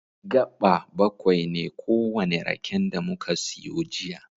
Gaɓa baƙwai ne kowane raken da muka siyo jiya.